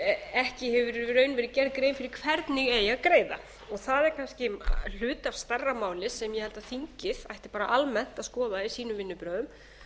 hefur í raun verið gerð grein fyrir hvernig eigi að greiða það er kannski hluti af stærra máli sem ég held að þingið ætti almennt að skoða í sínum vinnubrögðum